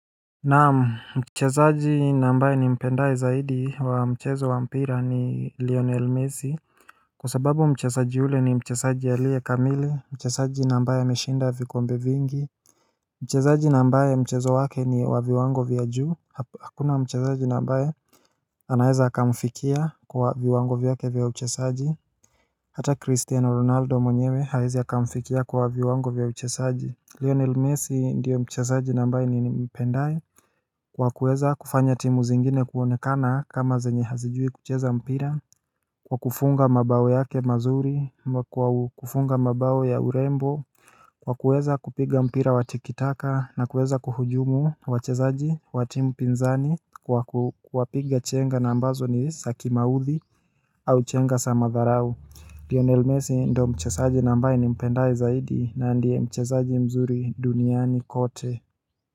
Naam, mchezaji na ambaye ni mpendaye zaidi wa mchezo wa mpira ni Lionel Messi Kwa sababu mchezaji ule ni mchezaji aliye kamili, mchezaji na ambaye ameshinda vikombe vingi Mchezaji na ambaye mchezo wake ni waviwango vya juu, hakuna mchezaji na ambaye anaeza akamfikia kwa waviwango vya ke vya uchezaji Hata Cristiano Ronaldo mwenyewe hawezi akamfikia kwa viwango vya uchezaji Lionel Messi ndiyo mchezaji na ambaye ni mpendaye Kwa kuweza kufanya timu zingine kuonekana kama zenye hazijui kucheza mpira Kwa kufunga mabao yake mazuri kwa kufunga mabao ya urembo Kwa kuweza kupiga mpira watikitaka na kuweza kuhujumu wachezaji watimu pinzani Kwa kuwapiga chenga na ambazo ni za kimauthi au chenga za matharau Lionel messi ndo mchezaji na ambaye ni mpendaye zaidi na ndiye mchezaji mzuri duniani kote.